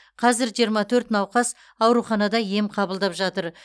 қазір жиырма төрт науқас ауруханада ем қабылдап жатыр